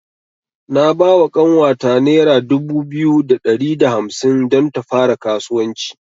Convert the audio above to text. Na bawa ƙanwata nera dubu biyu da ɗari da hamsin don ta fara kasuwanci.